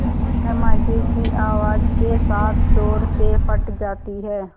धमाके की आवाज़ के साथ ज़ोर से फट जाती है